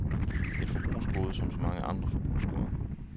Et forbrugsgode som så mange andre forbrugsgoder.